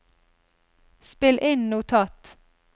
spill inn notat